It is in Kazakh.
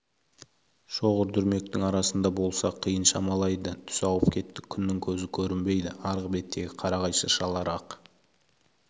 шоғыр-дүрмектің арасында болса қиын шамалайды түс ауып кетті күннің көзі көрінбейді арғы беттегі қарағай шыршалар ақ